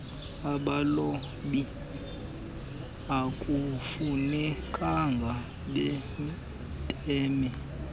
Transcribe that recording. abalobi akufunekanga beme